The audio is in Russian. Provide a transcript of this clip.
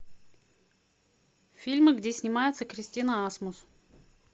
фильмы где снимается кристина асмус